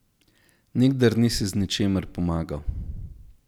Nikdar nisi z ničimer pomagal.